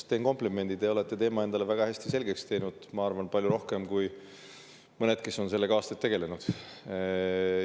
Teen komplimendi: te olete teema endale väga hästi selgeks teinud, ma arvan, palju rohkem kui mõned, kes on sellega aastaid tegelenud.